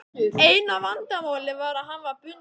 Eina vandamálið var að hann var bundinn.